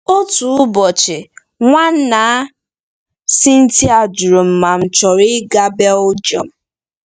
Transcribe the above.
Otu ụbọchị, Nwanna Cynthia jụrụ m ma m̀ ga-achọ ịga Belgium.